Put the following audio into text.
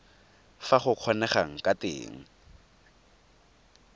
fa go kgonegang ka teng